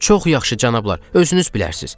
Çox yaxşı, cənablar, özünüz bilərsiz.